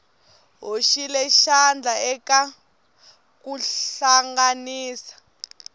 hoxile xandla eka ku hlanganisa